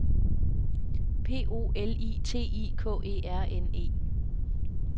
P O L I T I K E R N E